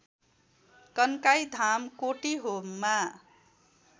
Kankai Dham कोटीहोममा